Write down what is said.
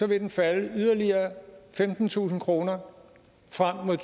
vil den falde yderligere femtentusind kroner frem mod